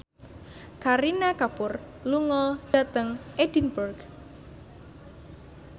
Kareena Kapoor lunga dhateng Edinburgh